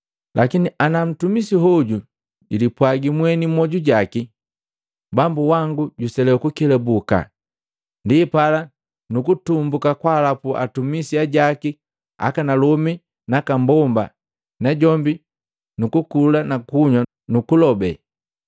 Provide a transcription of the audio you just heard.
Lakini ana ntumisi hoju julipwaji mweni mmwoju jaki, ‘Bambu wango juselewa kukelabuka.’ Ndipala nukutumbuka kwaalapu hatumisi hajaki akanalomi nakaambomba, najombi nukukula na kunywa nukulobe,